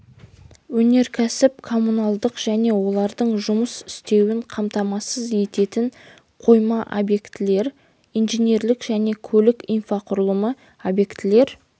өнеркәсіп коммуналдық және олардың жұмыс істеуін қамтамасыз ететін қойма объектілер инженерлік және көлік инфрақұрылымы объектілер